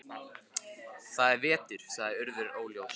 Það er veturinn- sagði Urður óljóst.